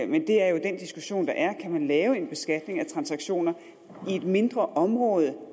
men det er jo den diskussion der er kan man lave en beskatning af transaktioner i et mindre område